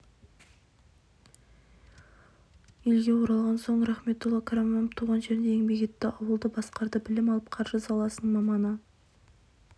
елге оралған соң рахметолла қараманов туған жерінде еңбек етті ауылды басқарды білім алып қаржы саласының маманы